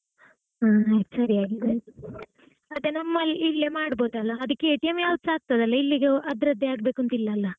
ಹಾ ಆಯ್ತ್ ಸರಿ ಆಯ್ತ್ . ಮತ್ತೆ ನಮ್ಮಲ್ ಇಲ್ಲೇ ಮಾಡಬಹುದಲ್ಲ, ಅದಕ್ಕೆ ಯಾವುದು ಸಹ ಆಗ್ತದೆ ಅಲಾ, ಇಲ್ಲಿಗೆ ಅದ್ರದ್ದೇ ಆಗ್ಬೇಕು ಅಂತ ಇಲ್ಲಲ್ಲಾ?